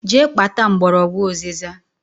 Jee kpata mgbọrọgwụ ụzịza!